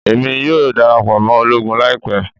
Emi yoo darapọ mọ ologun laipẹ